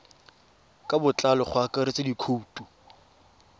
ka botlalo go akaretsa dikhoutu